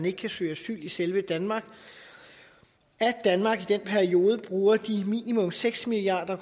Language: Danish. ikke kan søge asyl i selve danmark at danmark i den periode bruger de minimum seks milliard